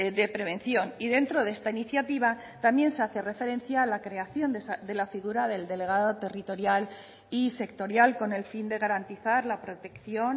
de prevención y dentro de esta iniciativa también se hace referencia a la creación de la figura del delegado territorial y sectorial con el fin de garantizar la protección